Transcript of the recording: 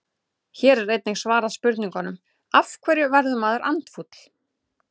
Hér er einnig svarað spurningunum: Af hverju verður maður andfúll?